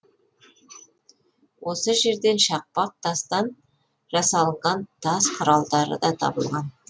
осы жерден шақпақ тастан жасалынған тас құралдары да табылған